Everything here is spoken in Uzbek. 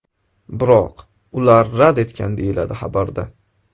Biroq ular rad etgan”, deyiladi xabarda.